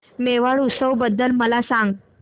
मेवाड उत्सव बद्दल मला सांग